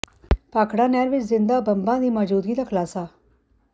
ਭਾਖੜਾ ਨਹਿਰ ਵਿੱਚ ਜ਼ਿੰਦਾ ਬੰਬਾਂ ਦੀ ਮੌਜੂਦਗੀ ਦਾ ਖੁਲਾਸਾ